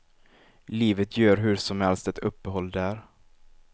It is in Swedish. Livet gör hur som helst ett uppehåll där.